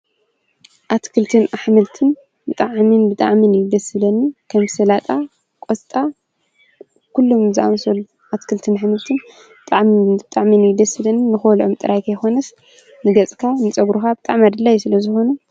ኣትክልትን ኣሕምልትን ብጣዕምን ብጣዕምን እዩ ደሥ ዝብለኒ ከም ሠላጣ ቈስጣ ኲሉም ዝዝኣምሰሉ ኣትክልትን ኣሕምልትን ብጣዕሚን ብጣዕሜን ይደሥለን ንኾሎም ጥራይ ኸይኮነስ ንገጽካ ጸጕሩኻ ብጥዕሚ ኣድለይቲ ስለ ዝኾኑ እዩ።